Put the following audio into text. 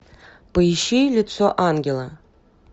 поищи лицо ангела